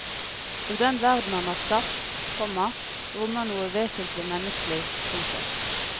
Og den verden han har skapt, komma rommer noe vesentlig menneskelig. punktum